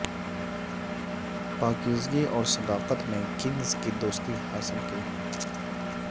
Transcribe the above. پاکیزگی اور صداقت نے کنگز کی دوستی حاصل کی